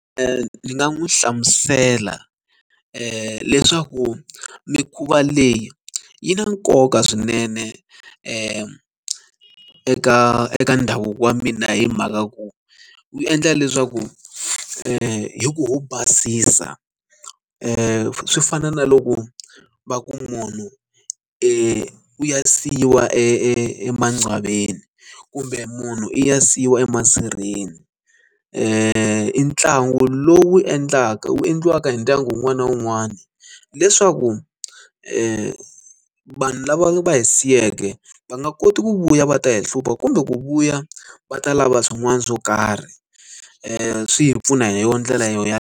ni nga n'wi hlamusela leswaku mikhuva leyi yi na nkoka swinene eka eka ndhavuko wa mina hi mhaka ku wu endla leswaku hi ku u basisa swi fana na loko va ku munhu i ku ya siyiwa e emaqwalweni kumbe munhu i ya siyiwa emasirheni i ntlangu lowu endlaka wu endliwaka hi ndyangu wun'wana na wun'wana leswaku vanhu lava hi siyeke va nga koti ku vuya va ta yi hlupha kumbe ku vuya va ta lava swin'wana swo karhi swi hi pfuna hi yoho ndlela yo ya.